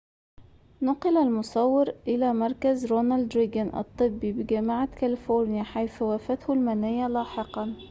نُقل المصور إلى مركز رونالد ريجان الطبي بجامعة كاليفورنيا حيث وافته المنية لاحقاً